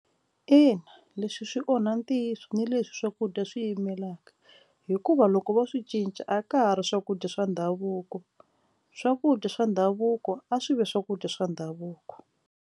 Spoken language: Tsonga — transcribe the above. Ina, leswi swi onha ntiyiso ni leswi swakudya swi yimelaka hikuva loko vo swi cinca a ka ha ri swakudya swa ndhavuko swakudya swa ndhavuko a swi vi swakudya swa ndhavuko.